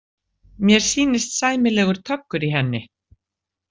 Mér sýnist sæmilegur töggur í henni.